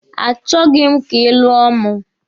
A chọghi m ka ị lụọ mụ.